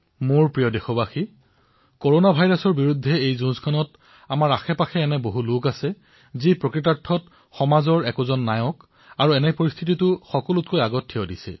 মোৰ মৰমৰ দেশবাসীসকল কৰনা ভাইৰাছৰ বিৰুদ্ধে এই যুদ্ধত আমাৰ ওচৰেপাজৰে এনে অনেক লোক আছে যি সমাজৰ বাবে বাস্তৱিকতে নায়কৰ ভূমিকা পালন কৰি সকলোতকৈ আগত থিয় দিছে